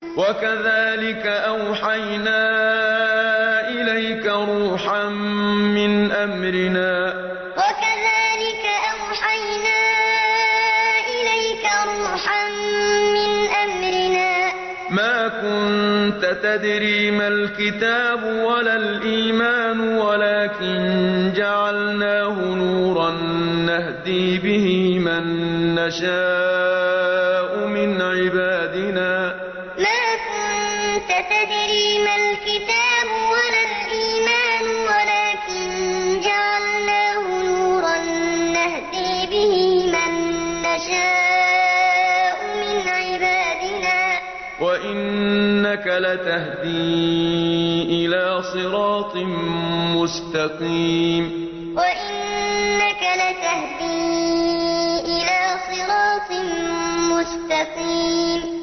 وَكَذَٰلِكَ أَوْحَيْنَا إِلَيْكَ رُوحًا مِّنْ أَمْرِنَا ۚ مَا كُنتَ تَدْرِي مَا الْكِتَابُ وَلَا الْإِيمَانُ وَلَٰكِن جَعَلْنَاهُ نُورًا نَّهْدِي بِهِ مَن نَّشَاءُ مِنْ عِبَادِنَا ۚ وَإِنَّكَ لَتَهْدِي إِلَىٰ صِرَاطٍ مُّسْتَقِيمٍ وَكَذَٰلِكَ أَوْحَيْنَا إِلَيْكَ رُوحًا مِّنْ أَمْرِنَا ۚ مَا كُنتَ تَدْرِي مَا الْكِتَابُ وَلَا الْإِيمَانُ وَلَٰكِن جَعَلْنَاهُ نُورًا نَّهْدِي بِهِ مَن نَّشَاءُ مِنْ عِبَادِنَا ۚ وَإِنَّكَ لَتَهْدِي إِلَىٰ صِرَاطٍ مُّسْتَقِيمٍ